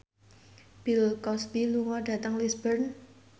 Bill Cosby lunga dhateng Lisburn